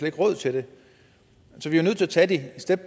ikke råd til det så vi er nødt til at tage det step